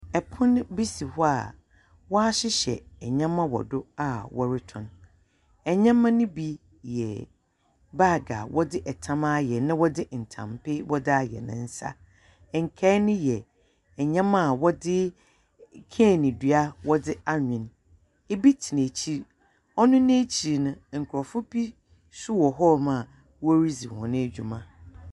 Ɛpono bi si hɔ a wɔahyehyɛ nneɛma wɔ do a wɔretɔn. Nyeɛma no bi yɛ baage a wɔdze tam ayɛ na wɔdze ntampe wɔdze ayɛ ne nsa. Nkae no yɛ nyeɛma a wɔdze cain dua wɔdze anwen. Ebi tsena ekyir. Ɔno n'ekyir no, nkurɔfo bi nso wɔ hɔnom a woridzi hɔn dwuma.